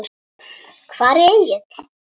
Hvar er Egill?